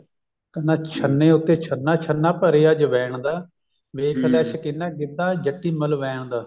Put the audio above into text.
ਕਹਿੰਦਾ ਛੰਨੇ ਉੱਤੇ ਛੰਨਾ ਛੰਨਾ ਭਰਿਆ ਅਜਵੈਨ ਦਾ ਵੇਖਲਾ ਸੋਕਿਨਾ ਗਿੱਧਾ ਜੱਟੀ ਮਲਵੈਨ ਦਾ